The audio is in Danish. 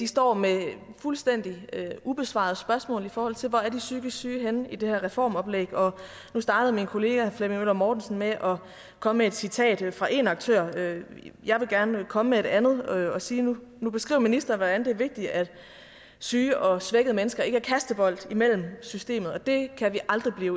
står med fuldstændig ubesvarede spørgsmål i forhold til hvor de psykisk syge er henne i det her reformoplæg nu startede min kollega herre flemming møller mortensen med at komme med et citat fra en aktør jeg vil gerne komme med et andet og sige at nu beskriver ministeren hvordan det er vigtigt at syge og svækkede mennesker ikke er kastebold i systemet og det kan vi aldrig blive